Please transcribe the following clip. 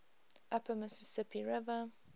upper mississippi river